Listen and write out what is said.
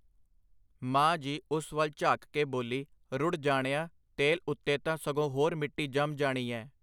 ਮਾਂ ਜੀ ਉਸ ਵੱਲ ਝਾਕ ਕੇ ਬੋਲੀ, ਰੁੜ੍ਹ ਜਾਣਿਆ, ਤੇਲ ਉੱਤੇ ਤਾਂ ਸਗੋਂ ਹੋਰ ਮਿੱਟੀ ਜੰਮ ਜਾਣੀ ਐਂ.